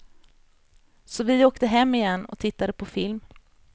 Så vi åkte hem igen och tittade på film.